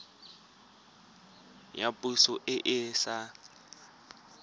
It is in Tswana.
ya poso e e sa